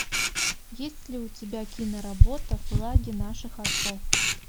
есть ли у тебя киноработа флаги наших отцов